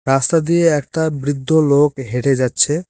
রাস্তা দিয়ে একটা বৃদ্ধ লোক হেঁটে যাচ্ছে।